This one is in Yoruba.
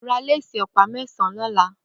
Rà àṣọ̀ lésì òpá mẹsãn lọ̀lá